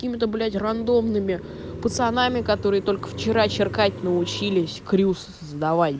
какими-то блять рандомными пацанами которые только вчера черкать научились крюс создавай